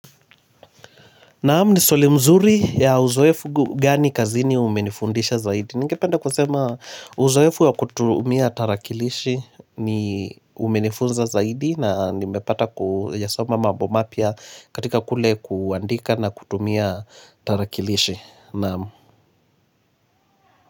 Naamu ni swali mzuri ya uzoefu gani kazini umenifundisha zaidi. Ninge penda kusema uzoefu ya kutumia tarakilishi ni umenifunza zaidi na nimepata kuyasoma mabomapya katika kule kuandika na kutumia tarakilishi. Naamu.